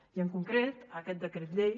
i en concret en aquest decret llei